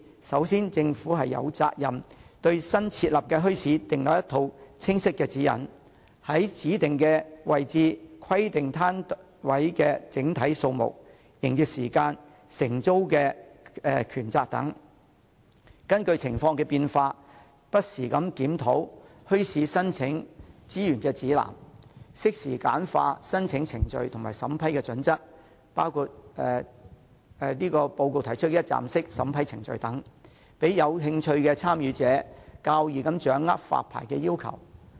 首先，政府有責任對新設立的墟市訂立一套清晰的指引，在指定位置規定攤位的整體數目、營業時間和承租的權責，並且根據情況變化，不時檢討墟市申請資源指南，適時簡化申請程序和審批準則，包括報告提出的一站式審批程序等，讓有興趣的參與者較易掌握發牌要求。